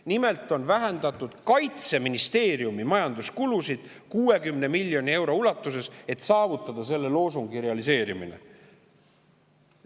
Nimelt on vähendatud Kaitseministeeriumi majanduskulusid 60 miljoni euro ulatuses, et saavutada selle loosungi realiseerimine.